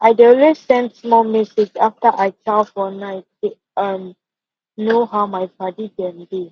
i dey always send small message after i chow for night to um know how my padi dem dey